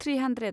three hundred